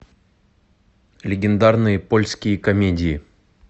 легендарные польские комедии